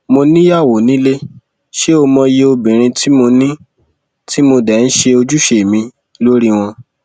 mo níyàwó nílé ṣé ó mòye obìnrin tí mo ní tí mo dé ń ṣe ojúṣe mi lórí wọn